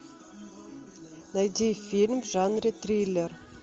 найди фильм в жанре триллер